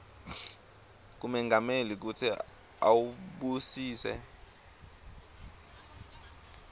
kumengameli kutsi awubusise